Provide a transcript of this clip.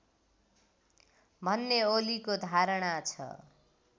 भन्ने ओलीको धारणा छ